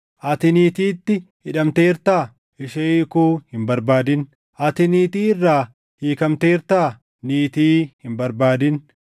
Ati niitiitti hidhamteertaa? Ishee hiikuu hin barbaadin. Ati niitii irraa hiikamteertaa? Niitii hin barbaadin.